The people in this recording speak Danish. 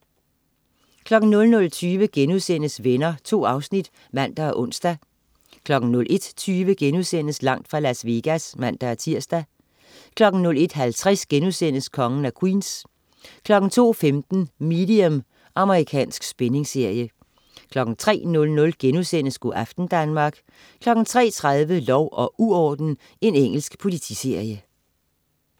00.20 Venner.* 2 afsnit (man og ons) 01.20 Langt fra Las Vegas* (man-tirs) 01.50 Kongen af Queens* 02.15 Medium. Amerikansk spændingsserie 03.00 Go' aften Danmark* 03.30 Lov og uorden. Engelsk politiserie